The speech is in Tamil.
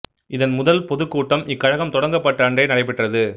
இதன் முதல் பொதுக் கூட்டம் இக்கழகம் தொடங்கப்பட்ட அன்றே நடைபெற்றது